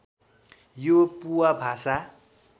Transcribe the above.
यो पुवा भाषा